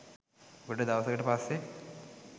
ගොඩ දවසකට පස්සේ